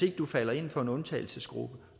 ikke falder inden for en undtagelsesgruppe